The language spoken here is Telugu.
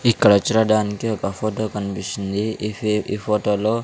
ఇక్కడ చూడడానికి ఒక ఫొటో కన్పిస్తుంది ఈ ఫె ఈ ఫోటోలో --